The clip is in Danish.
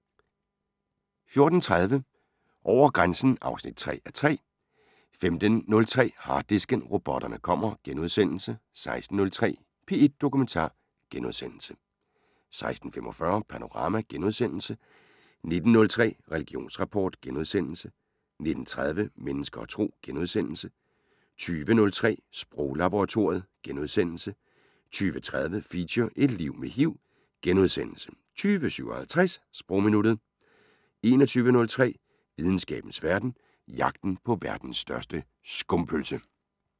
14:30: Over grænsen 3:3 (Afs. 3) 15:03: Harddisken: Robotterne kommer * 16:03: P1 Dokumentar * 16:45: Panorama * 19:03: Religionsrapport * 19:30: Mennesker og Tro * 20:03: Sproglaboratoriet * 20:30: Feature: Et liv med HIV * 20:57: Sprogminuttet 21:03: Videnskabens Verden: Jagten på verdens største skumpølse *